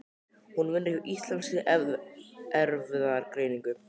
Hún vinnur hjá Íslenskri erfðagreiningu.